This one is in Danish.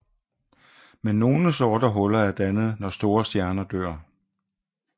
Men nogle sorte huller er dannet når store stjerner dør